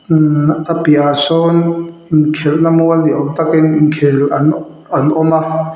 umhh a piahah sawn inkhelhna mual ni awm takin inkhel an an awm a.